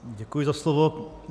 Děkuji za slovo.